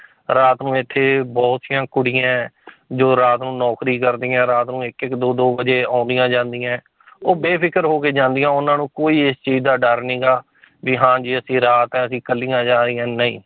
ਰਾਤ ਨੂੰ ਇੱਥੇ ਬਹੁਤੀਆਂ ਕੁੜੀਆਂ ਹੈ ਜੋ ਰਾਤ ਨੂੰ ਨੌਕਰੀ ਕਰਦੀਆਂ, ਰਾਤ ਨੂੰ ਇੱਕ ਇੱਕ ਦੋ ਦੋ ਵਜ਼ੇ ਆਉਂਦੀਆਂ ਜਾਂਦੀਆਂ ਹੈ ਉਹ ਬੇਫ਼ਿਕਰ ਹੋ ਕੇ ਜਾਂਦੀਆਂ ਉਹਨਾਂ ਨੂੰ ਕੋਈ ਇਸ ਚੀਜ਼ ਦਾ ਡਰ ਨੀਗਾ ਵੀ ਹਾਂ ਜੀ ਅਸੀਂ ਰਾਤ ਆ ਅਸੀਂ ਇਕੱਲੀਆਂ ਜਾ ਰਹੀਆਂ ਨਹੀਂ